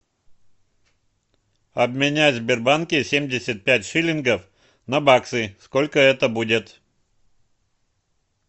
обменять в сбербанке семьдесят пять шиллингов на баксы сколько это будет